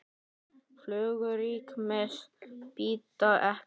Flugur rykmýs bíta ekki.